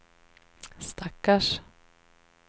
stackars